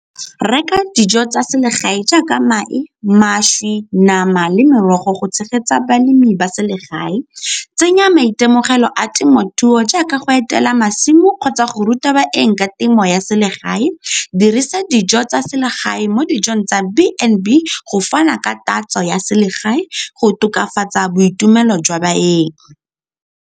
Reka dijo tsa selegae jaaka mae, mašwi, nama le merogo go tshegetsa balemi ba selegae. Tsenya maitemogelo a temothuo jaaka go etela masimo kgotsa go ruta baeng ka temo ya selegae, dirisa dijo tsa selegae mo dijong tsa B and B go fana ka tatso ya selegae go tokafatsa boitumelo jwa baeng.